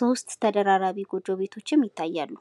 3 ተደራራቢ ጎጆ ቤቶችም ይታያሉ።